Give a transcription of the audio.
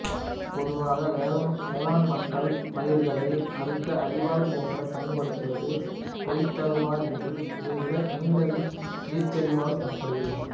பொதுவாக வேளாண் மக்கள் பயிர்களை அறுக்க அரிவாள் போன்று பயன்படுத்துவது கொய்த்தருவாள் என்றும் இதைவிட நீண்டது வீச்சரிவாள் எனப்படுகிறது